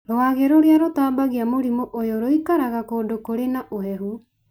Rwagĩ rũrĩa rũtambagia mũrimũ ũyũ rũikaraga kũndũ kũrĩ na ũhehu.